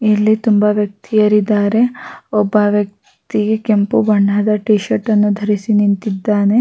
ಇಲ್ಲಿ ತುಂಬಾ ವ್ಯಕ್ತಿಯರಿದ್ದಾರೆ ಒಬ್ಬ ವ್ಯಕ್ತಿ ಕೆಂಪು ಬಣ್ಣದ ಟಿ ಶರ್ಟ್ ಅನ್ನು ಧರಿಸಿ ನಿಂತಿದ್ದಾನೆ-